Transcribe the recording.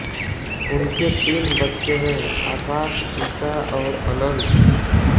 उनके तीन बच्चे हैं आकाश ईशा और अनंत